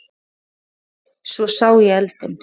En svo sá ég eldinn.